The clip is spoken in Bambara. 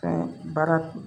Fɛn baara